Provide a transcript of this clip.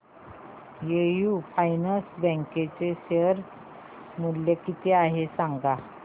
AU finance bank चे share मूल्य किती आहे सांगा